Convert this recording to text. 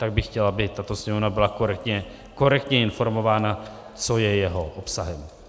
Tak bych chtěl, aby tato Sněmovna byla korektně informována, co je jeho obsahem.